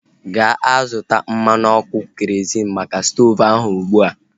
Gaa zụta mmanụ ọkụ kerozịn maka stoovu ahu ụgbụa!